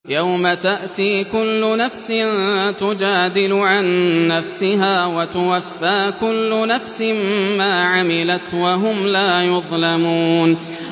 ۞ يَوْمَ تَأْتِي كُلُّ نَفْسٍ تُجَادِلُ عَن نَّفْسِهَا وَتُوَفَّىٰ كُلُّ نَفْسٍ مَّا عَمِلَتْ وَهُمْ لَا يُظْلَمُونَ